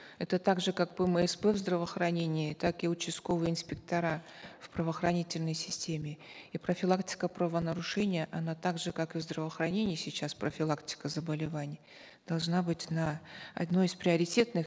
это так же как пмсп в здравоохранении так и участковые инспектора в правоохранительной системе и профилактика правонарушения она так же как и в здравоохранении сейчас профилактика заболеваний должна быть на одной из приоритетных